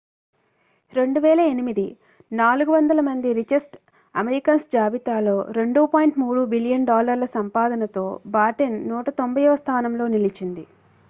2008 400 మంది richest Americans జాబితాలో 2.3 billion డాలర్ల సంపాదనతో బాటెన్ 190వ స్థానంలో నిలిచింది